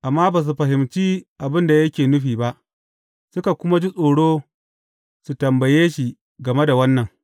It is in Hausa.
Amma ba su fahimci abin da yake nufi ba, suka kuma ji tsoro su tambaye shi game da wannan.